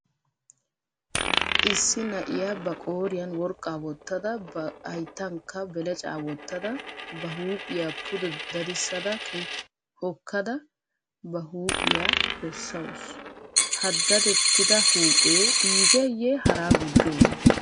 Issi na"iyaa ba qooriyan worqqaa wottada ba hayttankka belecaa wottada ba huuphiya pude dadissada hokkada ba huuphiya bessawusu. Ha dadettida huuphee iigeeyye haraa gujjoogee?